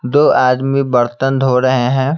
दो आदमी बर्तन धो रहे हैं।